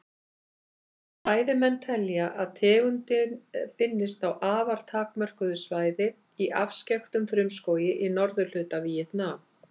Fræðimenn telja að tegundin finnist á afar takmörkuðu svæði í afskekktum frumskógi í norðurhluta Víetnam.